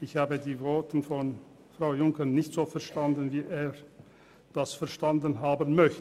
Ich habe die Worte von Frau Junker nicht so verstanden wie er das verstanden haben möchte.